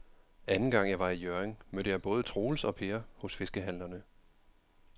Anden gang jeg var i Hjørring, mødte jeg både Troels og Per hos fiskehandlerne.